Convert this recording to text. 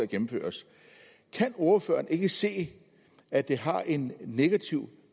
gennemføres kan ordføreren ikke se at det har en negativ